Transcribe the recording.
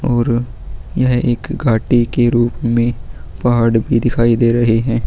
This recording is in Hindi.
और यह एक घाटी के रूप में पहाड़ भी दिखाई दे रहे हैं।